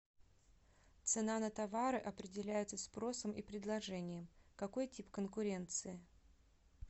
цена на товары определяется спросом и предложением какой тип конкуренции